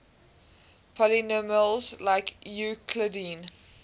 polynomials like euclidean